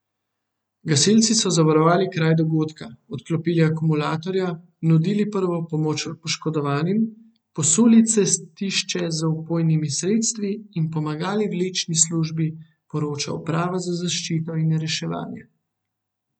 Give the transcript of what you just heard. Gasilci so zavarovali kraj dogodka, odklopili akumulatorja, nudili prvo pomoč poškodovanim, posuli cestišče z vpojnimi sredstvi in pomagali vlečni službi, poroča uprava za zaščito in reševanje.